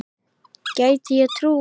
Gæti ég trúað.